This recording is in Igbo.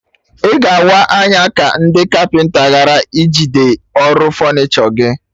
Ị ga awa anya ka ndị kapịnta ghara ijigide ọrụ fọnichọ gị